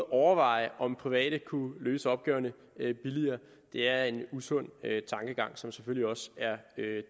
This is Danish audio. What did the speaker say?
overveje om private kunne løse opgaverne billigere er en usund tankegang som selvfølgelig også er